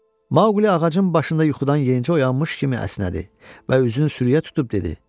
Maquli ağacın başında yuxudan yeyincə oyanmış kimi əsnədi və üzünü sürüyə tutub dedi.